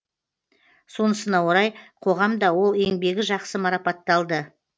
сонысына орай қоғам да ол еңбегі жақсы марапатталды